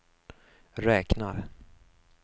räknar